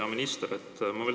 Hea minister!